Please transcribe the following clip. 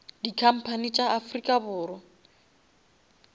di company tša afrika borwa